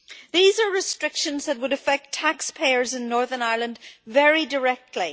These are restrictions that would affect taxpayers in Northern Ireland very directly.